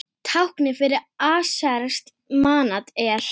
Táknið fyrir aserskt manat er.